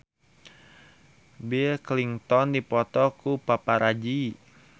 Bill Clinton dipoto ku paparazi